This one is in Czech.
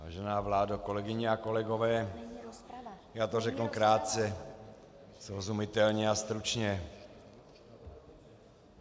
Vážená vládo, kolegyně a kolegové, já to řeknu krátce, srozumitelně a stručně.